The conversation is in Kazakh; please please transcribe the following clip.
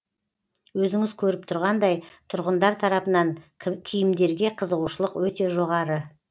өзіңіз көріп тұрғандай тұрғындар тарапынан киімдерге қызығушылық өте жоғары